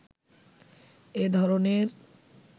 এ ধরনের